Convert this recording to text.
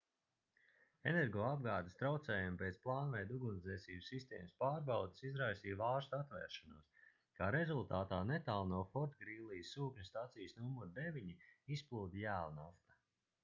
energoapgādes traucējumi pēc plānveida ugunsdzēsības sistēmas pārbaudes izraisīja vārstu atvēršanos kā rezultātā netālu no fortgrīlijas sūkņu stacijas nr 9 izplūda jēlnafta